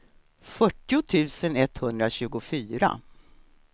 fyrtio tusen etthundratjugofyra